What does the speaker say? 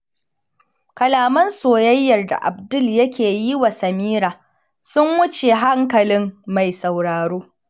Kalaman soyayyar da Abdul yake yi wa Samira sun wuce hankalin mai sauraro.